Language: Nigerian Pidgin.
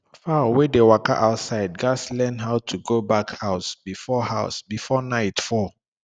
fowl wey dey waka outside gats learn how to go back house before house before night fall